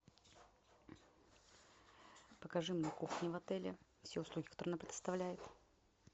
покажи мне кухню в отеле все услуги которые она предоставляет